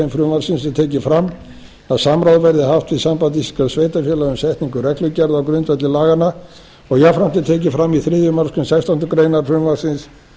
frumvarpsins er tekið fram að samráð verði haft við samband íslenskra sveitarfélaga við setningu reglugerða á grundvelli laganna og jafnframt er tekið fram í þriðju málsgrein sextándu grein frumvarpsins